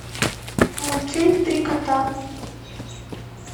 мультфильм три кота